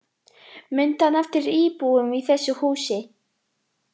Mundi hann eftir íbúum í þessu húsi